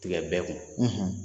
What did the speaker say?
Tigɛ bɛɛ kun.